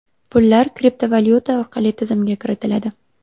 Pullar kriptovalyuta orqali tizimga kiritiladi.